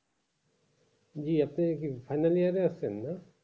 জি আপনি কি final year এ আছেন না!